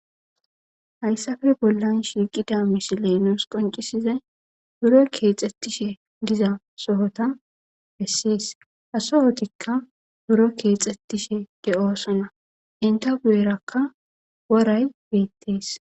Hayssafe bollan shiiqida misilenos qoncisizay buro keexxettishe diza sohota hessies hasohotikka buro keexxettishe ge7oosana inta buyerakka woray beettees